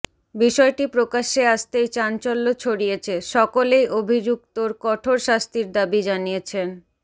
বিষয়টি প্রকাশ্যে আসতেই চাঞ্চল্য ছড়িয়েছে সকলেই অভিযুক্তর কঠোর শাস্তির দাবি জানিয়েছেন